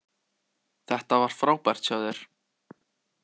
Þetta var frábært hjá þér!